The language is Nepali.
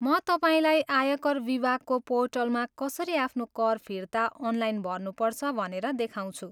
म तपाईँलाई आयकर विभागको पोर्टलमा कसरी आफ्नो कर फिर्ती अनलाइन भर्नुपर्छ भनेर देखाउँछु।